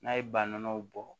N'a ye ba nɔnɔw bɔ